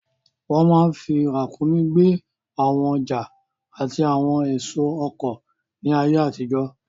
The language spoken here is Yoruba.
Wọ́n máa n fi ràǹkúnmí gbé àwọn ọjà àti àwọn èso oko ní ayé àtijọ́